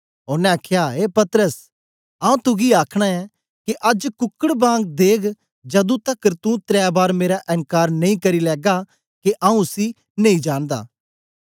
ओनें आखया ए पतरस आऊँ तुगी आखना ऐं के अज्ज कुकड बांग देग जदूं तकर तू त्रै बार मेरा एन्कार नेई करी लैगा के आऊँ उसी नेई जानदा